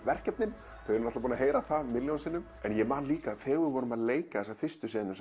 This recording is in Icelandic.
verkefnin þau eru búin að heyra það milljón sinnum en ég man líka þegar við vorum að leika þessa fyrstu senu